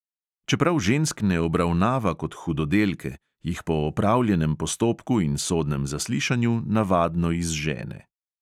Čeprav žensk ne obravnava kot hudodelke, jih po opravljenem postopku in sodnem zaslišanju navadno izžene.